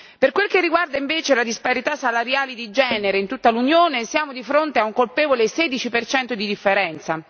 Per quel che riguarda invece la disparità salariale di genere, in tutta l'Unione siamo di fronte a un colpevole 16 per cento di differenza.